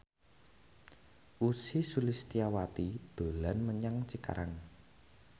Ussy Sulistyawati dolan menyang Cikarang